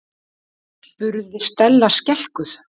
spurði Stella skelkuð.